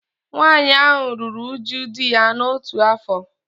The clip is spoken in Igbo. Nwaanyị ahụ ruru uju di ya otu afọ